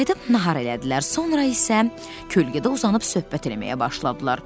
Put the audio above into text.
Qayıdıb nahar elədilər, sonra isə kölgədə uzanıb söhbət eləməyə başladılar.